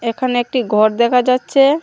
একানে একটি ঘর দেখা যাচ্চে।